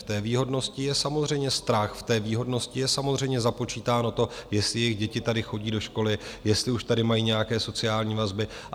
V té výhodnosti je samozřejmě strach, v té výhodnosti je samozřejmě započítáno to, jestli jejich děti tady chodí do školy, jestli už tady mají nějaké sociální vazby.